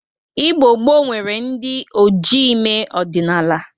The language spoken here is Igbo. Igbo gboo nwere ndị ojii ime ọdịnaala.